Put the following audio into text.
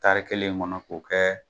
Tari kelen in kɔnɔ ko kɛ,